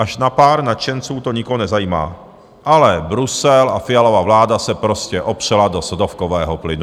Až na pár nadšenců to nikoho nezajímá, ale Brusel a Fialova vláda se prostě opřela do sodovkového plynu.